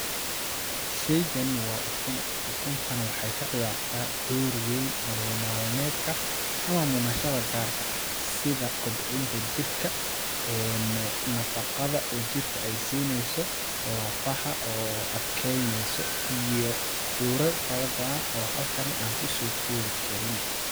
Sheygan waa ykun, ukun tan waxeey ka ciyartaa door weyn nolol maal medka ama munashada gaarka ah ,sida kobcinta jirka ee nafaqada oo jirka ay siineyso lafaha oo adkeyneyso iyo doorar fara badan oo halkani aan kusoo koobi karin .